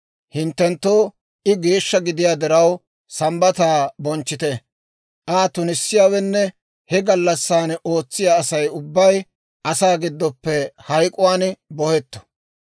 Hinttenttoo I geeshsha gidiyaa diraw, Sambbataa bonchchite. Aa tunissiyaawenne he gallassaan ootsiyaa Asay ubbay asaa gidoppe hayk'k'uwaan bohetto.